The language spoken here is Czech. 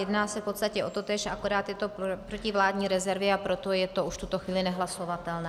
Jedná se v podstatě o totéž, akorát je to proti vládní rezervě, a proto je to už v tuto chvíli nehlasovatelné.